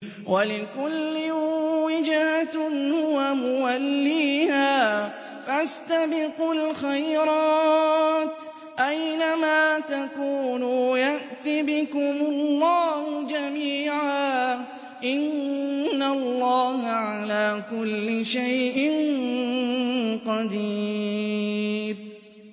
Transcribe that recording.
وَلِكُلٍّ وِجْهَةٌ هُوَ مُوَلِّيهَا ۖ فَاسْتَبِقُوا الْخَيْرَاتِ ۚ أَيْنَ مَا تَكُونُوا يَأْتِ بِكُمُ اللَّهُ جَمِيعًا ۚ إِنَّ اللَّهَ عَلَىٰ كُلِّ شَيْءٍ قَدِيرٌ